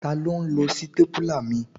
Taló n lo sítépúlà mi?